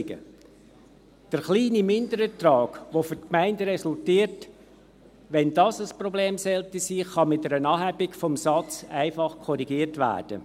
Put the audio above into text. Wenn der kleine Minderertrag, welcher für die Gemeinden resultiert, ein Problem sein sollte, kann dies mit einer Anhebung des Satzes einfach korrigiert werden.